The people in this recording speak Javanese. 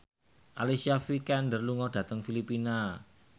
Alicia Vikander lunga dhateng Filipina